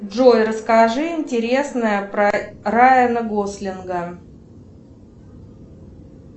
джой расскажи интересное про райана гослинга